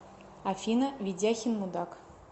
афина ведяхин мудак